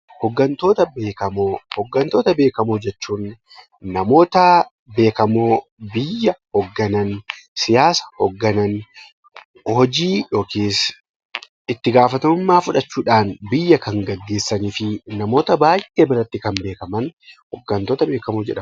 Hoggantoota beekamoo Hoggantoota beekamoo jechuun namoota beekamoo biyya hogganan, siyaasa hogganan, hojii yookiis itti gaafatamummaa fudhachuu dhaan biyya kan geggeessanii fi namoota baay'ee biratti kan beekaman 'Hoggantoota beekamoo' jedhamu.